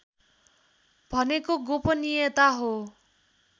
भनेको गोपनियता हो